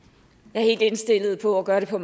jeg er helt indstillet på at gøre det på